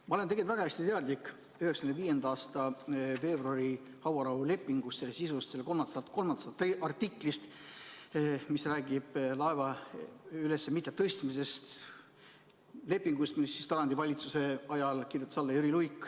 Ma olen väga hästi teadlik 1995. aasta veebruari hauarahulepingust, selle sisust, selle kolmandast artiklist, mis räägib laeva mitte ülestõstmisest, lepingust, millele Tarandi valitsuse ajal kirjutas alla Jüri Luik.